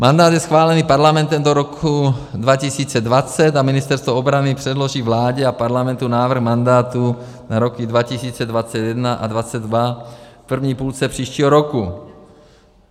Mandát je schválený Parlamentem do roku 2020 a Ministerstvo obrany předloží vládě a Parlamentu návrh mandátu na roky 2021 a 2022 v první půlce příštího roku.